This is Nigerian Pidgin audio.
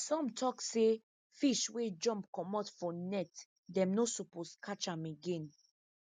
some tok say fish wey jump comot for net them no suppose catch am again